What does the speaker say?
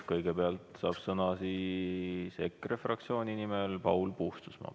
Kõigepealt saab sõna EKRE fraktsiooni nimel Paul Puustusmaa.